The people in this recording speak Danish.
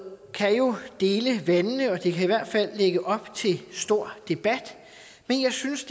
kan jo dele vandene og det kan i hvert fald lægge op til stor debat men jeg synes